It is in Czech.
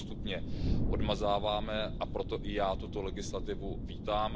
My ho postupně odmazáváme, a proto i já tuto legislativu vítám.